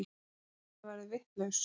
Amma Kata verður vitlaus.